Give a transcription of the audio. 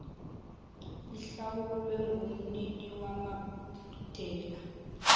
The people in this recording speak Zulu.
ihlawulwe ngumnini wamadela